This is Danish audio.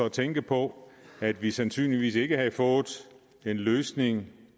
at tænke på at vi sandsynligvis ikke havde fået en løsning